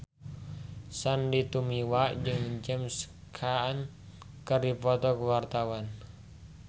Sandy Tumiwa jeung James Caan keur dipoto ku wartawan